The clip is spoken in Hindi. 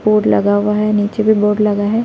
बोर्ड लगा हुआ है नीचे भी बोर्ड लगा है।